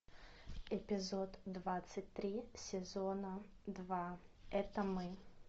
эпизод двадцать три сезона два это мы